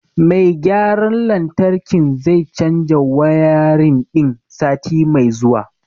Mai gayran lantarkin zai canja wayarin ɗin sati mai zuwa.